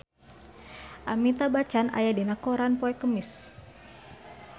Amitabh Bachchan aya dina koran poe Kemis